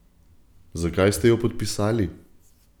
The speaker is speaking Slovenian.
Zakaj ste jo podpisali?